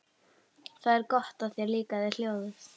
Það er gott að þér líkaði ljóðið.